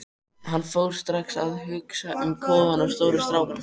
Hann fór strax að hugsa um kofann og stóru strákana.